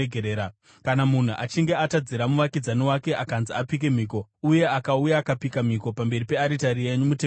“Kana munhu achinge atadzira muvakidzani wake, akanzi apike mhiko uye akauya akapika mhiko pamberi pearitari yenyu mutemberi ino,